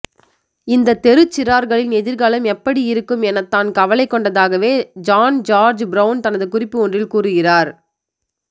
இந்த தெருச்சிறார்களின் எதிர்காலம் எப்படியிருக்கும் எனத் தான் கவலை கொண்டதாகவே ஜான் ஜார்ஜ் பிரவுன் தனது குறிப்பு ஒன்றில் கூறுகிறார்